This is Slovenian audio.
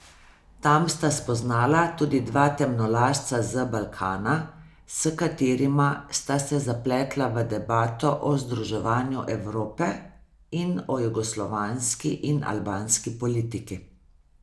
Tam sta spoznala tudi dva temnolasca z Balkana, s katerima sta se zapletla v debato o združevanju Evrope in o jugoslovanski in albanski politiki.